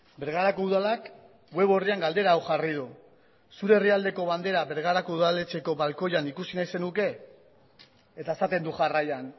bergarako udalak web orrian galdera hau jarri du zure herrialdeko bandera bergarako udaletxeko balkoian ikusi nahi zenuke eta esaten du jarraian